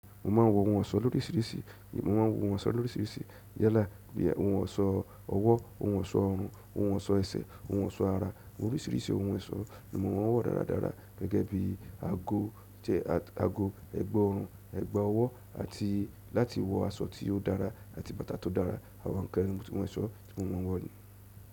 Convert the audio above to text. Èmi máa ń wọ̀ ohun ọ̀ṣọ́ lóríṣiríṣi yálà bíi ohun ọ̀ṣọ́ ọwọ́, ohun ọ̀ṣọ́ ọrùn, ohun ọ̀ṣọ́ ẹsẹ̀, ohun ọ̀ṣọ́ ara. Mo ní oríṣiríṣi ohun ọ̀ṣọ́ ni mo máa ń wọ dáradára gẹ́gẹ́ bí aago, ẹ̀gbá ọrùn, ẹ̀gbá ọwọ́ àti láti wọ aṣọ tí ó dára àti bàtà tó dára, àwọn nńkan tí mọ́sọ tímò máa ń wọ̀ nìí.